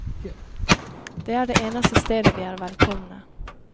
Det er det eneste stedet de er velkomne.